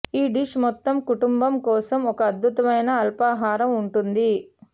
ఈ డిష్ మొత్తం కుటుంబం కోసం ఒక అద్భుతమైన అల్పాహారం ఉంటుంది